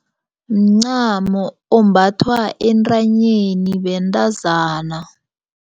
Mncamo ombathwa entanyeni bentazana.